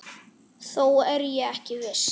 Þó er ég ekki viss.